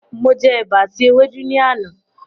Mo jẹ ẹ̀bà àti ewédú ni àná.